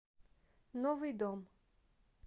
новый дом